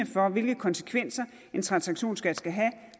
for hvilke konsekvenser en transaktionsskat skal have